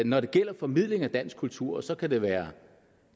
når det gælder formidling af dansk kultur og så kan det være